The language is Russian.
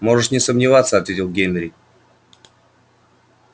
можешь не сомневаться ответил генри